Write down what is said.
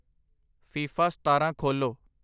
FIFA ਸਤਾਰਾਂ ਖੋਲ੍ਹੋ